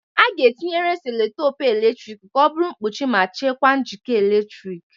A ga-etinyere selotape eletrik ka ọ bụrụ mkpuchi ma chekwaa njikọ eletrik.